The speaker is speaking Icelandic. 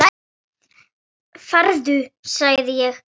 Farðu sagði ég, hvæsir hann.